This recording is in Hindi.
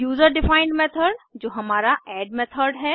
यूजर डिफाइंड मेथड जो हमारा एड मेथड है